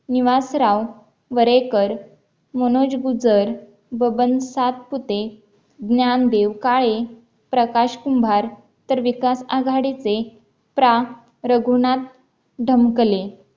निवास राव वरेकर, मनोज गुजर, बबन सातपुते, ज्ञानदेव काळे, प्रकाश कुंभार, तर विकास आघाडीचे प्रा. रघुनाथ धमकले